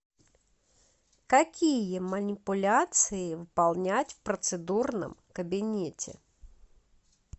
какие манипуляции выполнять в процедурном кабинете